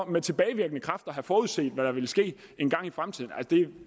med tilbagevirkende kraft kunne have forudset hvad der ville ske engang i fremtiden